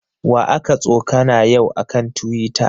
Wa aka tsokana yau a kan Tiwita?